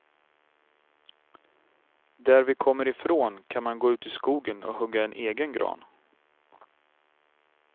Där vi kommer ifrån kan man gå ut i skogen och hugga en egen gran.